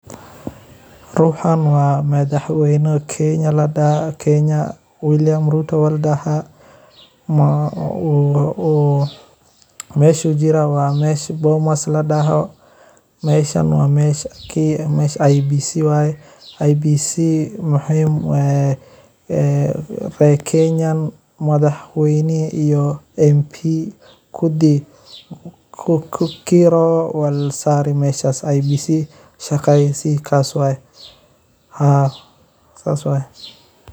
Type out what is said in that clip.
Ruxan waa madhax weyna kenya ladaha William ruto aya ladaha meeshu jira waa meel bomos ladoho meshan waa mesha IBC, IBC maxee kenyan madhaxweynaha iyo MP kukiro walsare meshas shaqeyo kas waye haa sas waye.